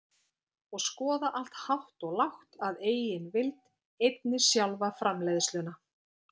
og skoða allt hátt og lágt að eigin vild, einnig sjálfa framleiðsluna.